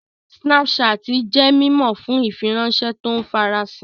Snapchat jẹ́ mímọ̀ fún ìfiránṣẹ́ tó ń farasin